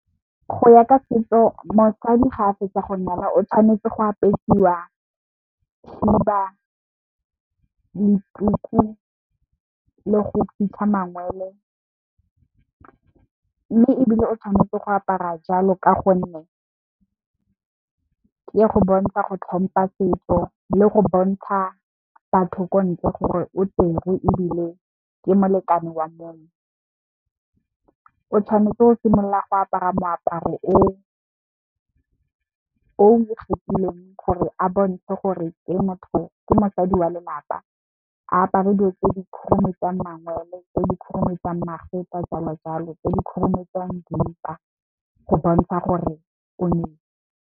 Go ya ka setso mosadi ga a fetsa go nyalwa o tshwanetse go apesiwa khiba, le tuku, le go fitlha mangwele. Mme ebile o tshwanetse go apara jalo ka gonne, ke go bontsha go tlhompha setso, le go bontsha batho ko ntle gore o tserwe ebile ke molekane wa motho. O tshwanetse o simolola go apara moaparo o ikgethileng gore a bontshe gore ke motho, ke mosadi wa lelapa. A apare dilo tse di khurumetsa mangwele, tse di khurumetsa magetla jalo jalo, tse di khurumetsang dimpa go bontsha gore o nyetse.